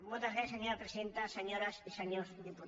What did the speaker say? moltes gràcies senyora presidenta senyores i senyors diputats